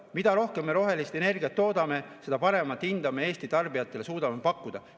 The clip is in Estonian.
Mida rohkem me rohelist energiat toodame, seda paremat hinda me Eesti tarbijatele suudame pakkuda.